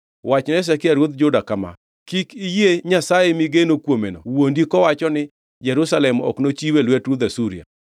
“Wachne Hezekia ruodh Juda kama: Kik iyie nyasaye migeno kuomeno wuondi kowacho ni, ‘Jerusalem ok nochiw e lwet ruodh Asuria.’